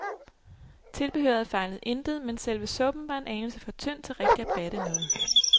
Tilbehøret fejlede intet, men selve suppen var en anelse for tynd til rigtig at batte noget.